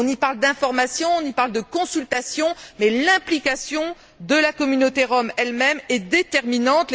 On y parle d'information, on y parle de consultation, mais l'implication de la communauté rom elle même est déterminante.